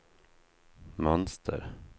mönster